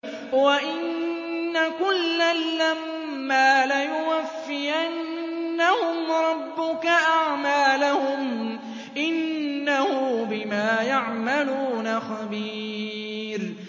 وَإِنَّ كُلًّا لَّمَّا لَيُوَفِّيَنَّهُمْ رَبُّكَ أَعْمَالَهُمْ ۚ إِنَّهُ بِمَا يَعْمَلُونَ خَبِيرٌ